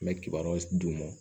N bɛ kibaruyaw d'u ma